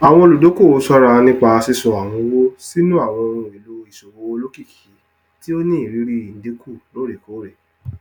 àwọn olùdókòwò ṣọra nípa sísọ àwọn owó sínú àwọn ohun èlò ìṣòwò olókìkí tí ó ní irírí ìdínkù loorekoore